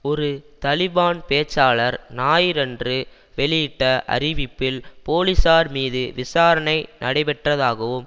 ஒரு தலிபான் பேச்சாளர் ஞாயிறன்று வெளியிட்ட அறிவிப்பில் போலீசார் மீது விசாரணை நடைபெற்றதாகவும்